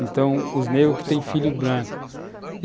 Então, os negros que têm filho branco.